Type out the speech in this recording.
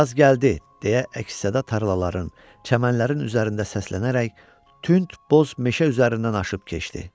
Yaz gəldi, deyə əks-səda tarlaların, çəmənlərin üzərində səslənərək tünd boz meşə üzərindən aşıb keçdi.